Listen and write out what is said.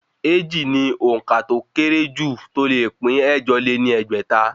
Èjì ni òǹkà tó ó kéré jù tí ó le pín ẹ̀jọ lé ní ẹgbẹ́ta